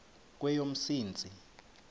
kweyomsintsi